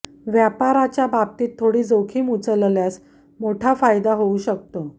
व्यापाराच्या बाबतीत थोडी जोखीम उचलल्यास मोठा फायदा होऊ शकतो